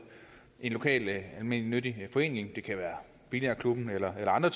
en lokal almennyttig forening det kan være billardklubben eller andre